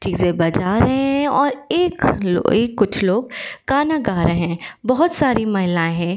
चीजें बजा रहे हैं और एक एक कुछ लोग गाना गा रहे हैं। बहोत सारी महिलाएं हैं।